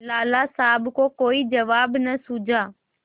लाला साहब को कोई जवाब न सूझा